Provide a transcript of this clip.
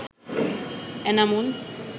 Enamul